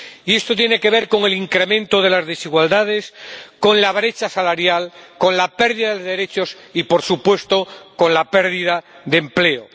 Y esto tiene que ver con el incremento de las desigualdades, con la brecha salarial, con la pérdida de derechos y, por supuesto, con la pérdida de empleo.